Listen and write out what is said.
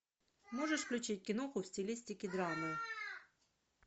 можешь включить киноху в стилистике драмы